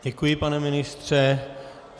Děkuji, pane ministře.